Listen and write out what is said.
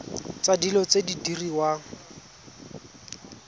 tsa dilo tse di diriwang